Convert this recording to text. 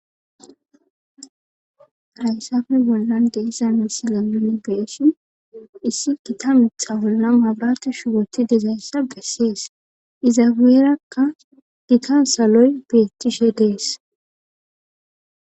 Hayssafe bollan de iza misi lamlane beeshin issi kita mixa bolla mabrate shuwoti dezayssa gessees iza weerakka gita saloy beettishe dees